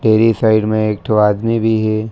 Dairy side म एक ठो आदमी भी हे।